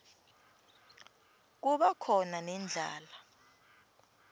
kuba khona nendlala